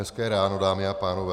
Hezké ráno, dámy a pánové.